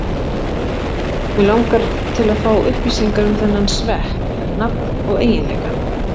Mig langar til að fá upplýsingar um þennan svepp, nafn og eiginleika.